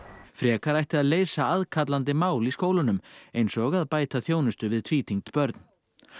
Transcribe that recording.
frekar ætti að leysa aðkallandi máli í skólunum eins og að bæta þjónustu við tvítyngd börn